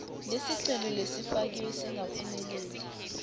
lesicelo lesifakiwe singakaphumeleli